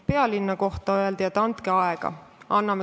Pealinna kohta öeldi, et andke aega.